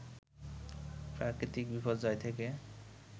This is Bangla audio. প্রাকৃতিক বিপর্যয় থেকে